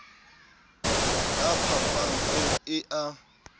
la phapang eo e a